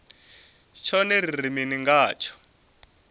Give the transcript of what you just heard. tshone ri ri mini ngatsho